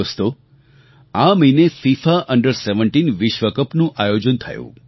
દોસ્તો આ મહિને ફિફા અંડર17 વિશ્વ કપનું આયોજન થયું